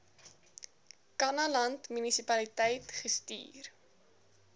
kannaland munisipaliteit gestuur